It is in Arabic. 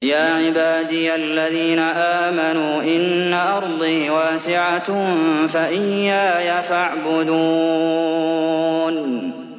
يَا عِبَادِيَ الَّذِينَ آمَنُوا إِنَّ أَرْضِي وَاسِعَةٌ فَإِيَّايَ فَاعْبُدُونِ